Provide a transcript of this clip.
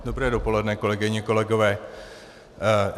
Dobré dopoledne, kolegyně, kolegové.